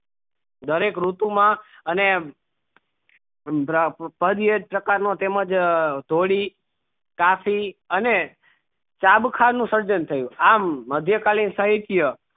દરેક રીતુ માં અમે પાગ્યે પ્રકાર નો તેમજ ધોળી અને ખાનું સર્જન થયું આમ મધ્યેકાલીન સહિત્ય